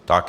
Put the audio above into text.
Díky.